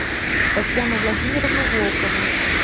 татьяну владимировну волкову